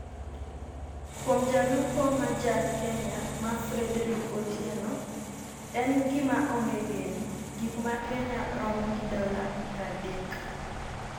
Kuom jalupo ma ja Kenya ma Frederike Otieno, en gima onge geno. Gik ma Kenya romo gi dola 30;